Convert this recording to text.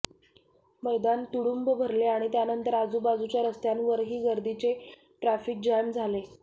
मैदान तुडुंब भरले आणि त्यानंतर आजूबाजूच्या रस्त्यांवरही गर्दीचे ट्रफिक जॅम झाले